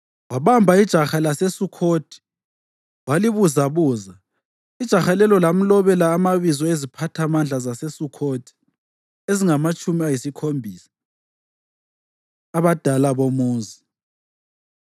Wabamba ijaha laseSukhothi walibuzabuza, ijaha lelo lamlobela amabizo eziphathamandla zaseSukhothi ezingamatshumi ayisikhombisa, abadala bomuzi.